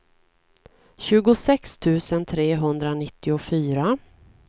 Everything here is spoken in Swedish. tjugosex tusen trehundranittiofyra